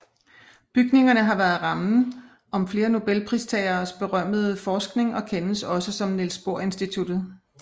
Bygningerne har været rammen om flere nobelpristageres berømmede forskning og kendes også som Niels Bohr Institutet